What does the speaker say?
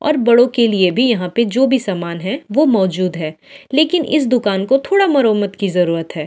और बड़ों के लिए भी यहां पे जो भी समान है वो मौजूद है लेकिन इस दुकान को थोड़ा मरोमत की जरूरत है।